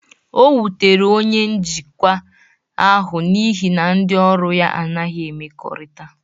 O wutere onye njikwa ahụ n'ihi na ndị ọrụ ya anaghị emekorita.